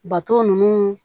Bato nunnu